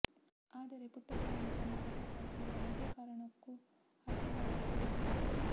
ಆದರೆ ಪುಟ್ಟಸ್ವಾಮಿ ತಮ್ಮ ಬಸವರಾಜು ಯಾವುದೇ ಕಾರಣಕ್ಕೊ ಆಸ್ತಿ ಬರೆದು ಕೊಡುವುದಿಲ್ಲ